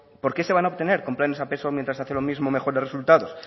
por qué se van obtener con planes a peso mientras hacen lo mismo mejores resultados